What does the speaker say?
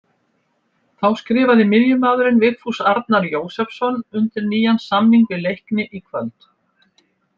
Þá skrifaði miðjumaðurinn Vigfús Arnar Jósepsson undir nýjan samning við Leikni í kvöld.